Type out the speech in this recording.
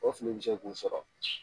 O fili bi se kun sɔrɔ